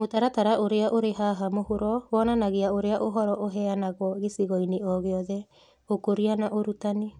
Mũtaratara ũrĩa ũrĩ haha mũhuro wonanagia ũrĩa ũhoro ũheanagwo gĩcigo-inĩ o gĩothe. Ũkũria na Ũrutani